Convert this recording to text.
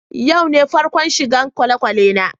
Yau be farkon shigan kwalekwale na.